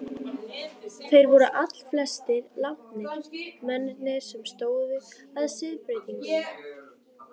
Þeir voru allflestir látnir, mennirnir sem stóðu að siðbreytingunni.